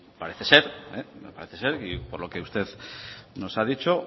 parece ser y por lo que usted nos ha dicho